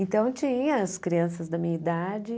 Então, tinha as crianças da minha idade.